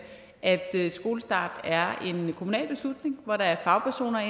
at skolestart er en kommunal beslutning hvor der er fagpersoner